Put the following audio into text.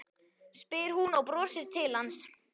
spyr hún og brosir til hans.